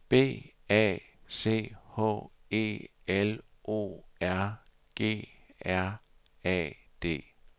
B A C H E L O R G R A D